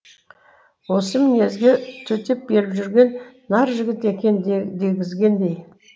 осы мінезге төтеп беріп жүрген нар жігіт екен дегізгендей